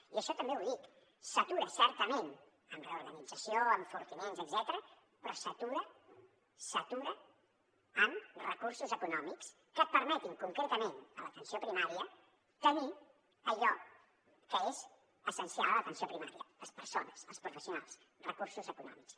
i això també ho dic s’atura certament amb reorganització enfortiments etcètera però s’atura amb recursos econòmics que et permetin concretament a l’atenció primària tenir allò que és essencial a l’atenció primària les persones els professionals recursos econòmics